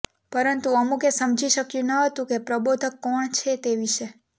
પરંતુ અમુકે સમજી શક્યું ન હતું કે પ્રબોધક કોણ છે તે વિષે